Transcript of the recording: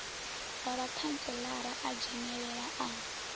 wa vhakhantselara a dzhenelela a